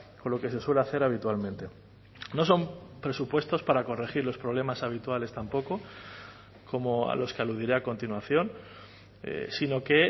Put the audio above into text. con lo que se suele hacer habitualmente no son presupuestos para corregir los problemas habituales tampoco como a los que aludiré a continuación sino que